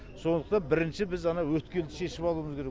сондықтан бірінші біз анау өткелді шешіп алуымыз керек